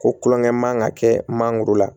Ko kulonkɛ man ka kɛ mangoro la